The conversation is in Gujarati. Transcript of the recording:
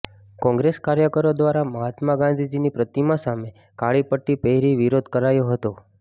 કોંગ્રેસ કાર્યકરો દ્વારા મહાત્મા ગાંધીજીની પ્રતિમા પાસે કાળી પટ્ટી પહેરી વિરોધ કરાયો હતો